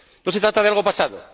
No se trata de algo pasado.